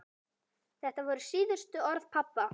Þetta voru síðustu orð pabba.